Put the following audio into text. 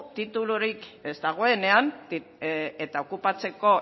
titulurik ez dagoenean eta okupatzeko